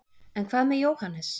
en hvað með jóhannes